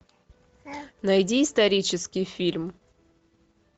найди исторический фильм